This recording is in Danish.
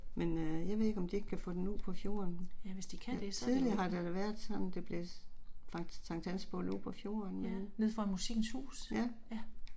Men øh jeg ved ikke om de ikke kan få den ud på fjorden. Tidligere har det da været sådan det blev Sank Hansbål ude på fjorden dernede. Ja